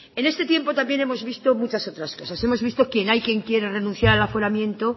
en este tiempo también hemos visto muchas otras cosas hemos visto quien hay que quiere renunciar al aforamiento